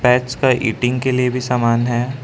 का ईटिंग के लिए भी समान है।